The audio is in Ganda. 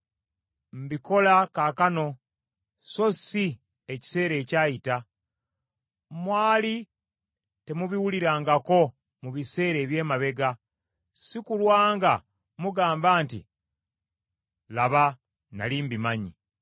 Mbikola kaakano, so si ekiseera ekyayita: mwali temubiwulirangako mu biseera eby’emabega si kulwa nga mugamba nti, ‘Laba nnali mbimanyi.’